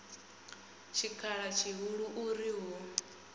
tshikhala tshihulu u ri hu